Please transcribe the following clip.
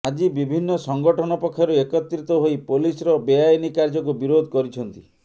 ଆଜି ବିଭିନ୍ନ ସଂଗଠନ ପକ୍ଷରୁ ଏକତ୍ରିତ ହୋଇ ପୋଲିସ ର ବେଆଇନ କାର୍ୟ୍ୟକୁ ବିରୋଧ କରିଛନ୍ତି